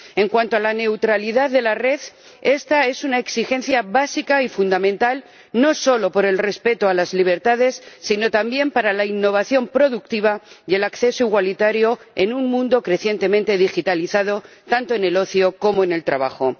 En cuanto a la neutralidad de la red, esta es una exigencia básica y fundamental, no solo por el respeto de las libertades, sino también para la innovación productiva y el acceso igualitario en un mundo crecientemente digitalizado, tanto en el ocio como en el trabajo.